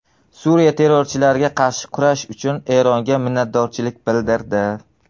Suriya terrorchilarga qarshi kurash uchun Eronga minnatdorchilik bildirdi.